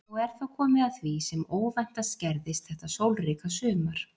Og er þá komið að því sem óvæntast gerðist þetta sólríka sumar.